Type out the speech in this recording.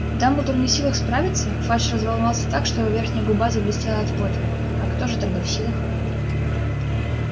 дамблдор не в силах справиться фадж разволновался так что его верхняя губа заблестела от пота а кто же тогда в силах